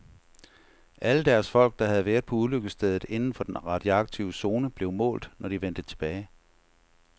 Alle deres folk, der havde været på ulykkesstedet inden for den radioaktive zone, blev målt, når de vendte tilbage.